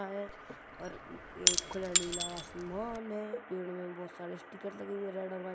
हैं और एक अ नीला आसमान हे पेड़ मे बहोत सारे स्टिकर्स लगे हुए हैं रेड एण्ड व्हाइट --